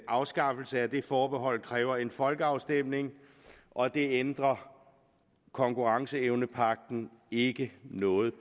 afskaffelse af det forbehold kræver en folkeafstemning og det ændrer konkurrenceevnepagten ikke noget